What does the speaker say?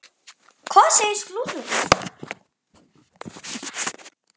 Hvað segir slúðrið?